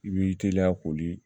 I b'i teliya koli